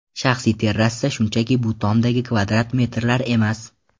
Shaxsiy terrasa shunchaki bu tomdagi kvadrat metrlar emas.